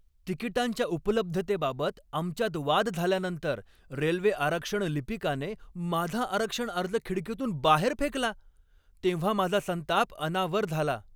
तिकिटांच्या उपलब्धतेबाबत आमच्यात वाद झाल्यानंतर रेल्वे आरक्षण लिपिकाने माझा आरक्षण अर्ज खिडकीतून बाहेर फेकला तेव्हा माझा संताप अनावर झाला.